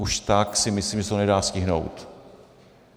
Už tak si myslím, že se to nedá stihnout.